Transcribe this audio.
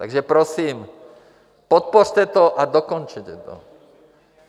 Takže prosím, podpořte to a dokončete to.